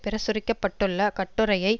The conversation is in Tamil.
பிரசுரிக்க பட்டுள்ள கட்டுரையை